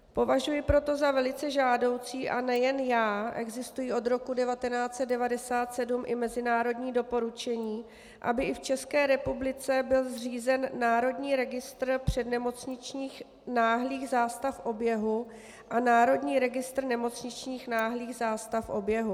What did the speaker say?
Považuji proto za velice žádoucí, a nejen já, existují od roku 1997 i mezinárodní doporučení, aby i v České republice byl zřízen Národní registr přednemocničních náhlých zástav oběhu a Národní registr nemocničních náhlých zástav oběhu.